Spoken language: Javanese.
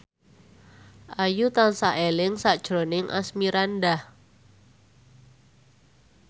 Ayu tansah eling sakjroning Asmirandah